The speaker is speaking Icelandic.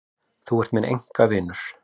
Þú ert minn einkavinur.